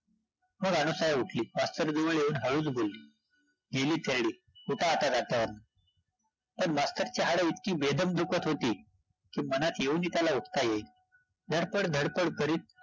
मग अनुसूया उठली, मास्तर जवळ येऊन हळूच बोलली गेली थेरडी, उठा आता जातीवरून पण मास्तरची हाडं इतकी बेदम दुखत होती की मनात येऊनही त्याला उठता येईना, धडपड- धडपड करीत